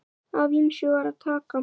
Af ýmsu var að taka.